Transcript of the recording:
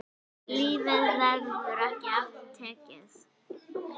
Lífið verður ekki aftur tekið.